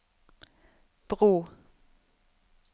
bro